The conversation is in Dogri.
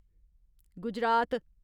गुजरात